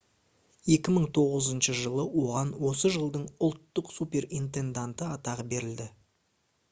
2009 жылы оған осы жылдың ұлттық суперинтенданты атағы берілді